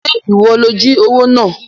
Ṣé ìwọ ló jí owó náà?